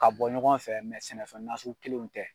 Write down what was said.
Ka bɔ ɲɔgɔn fɛ sɛnɛfɛn nasugu kelenw tɛ.